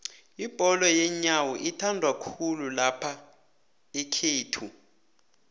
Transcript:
ibholo yenyowo ithandwakhulu laphaekhaga